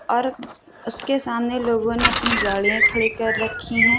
और उसके सामने लोगों ने अपनी गाड़िया खड़ी कर रखी हैं।